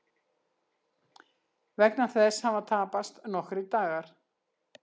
Vegna þess hafa tapast nokkrir dagar